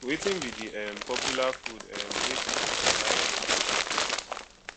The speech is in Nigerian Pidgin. wetin be di um popular food um wey people dey buy for evening um